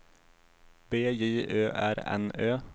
B J Ö R N Ö